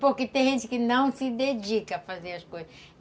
Porque tem gente que não se dedica a fazer as coisas.